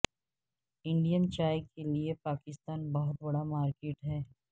Indian چائے کے لیئے پاکستان بہت بڑا مارکیٹ ہے